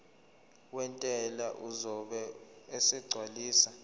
wentela uzobe esegcwalisa